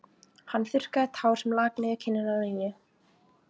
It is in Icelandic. Hann þurrkaði tár sem lak niður kinnina á Nínu.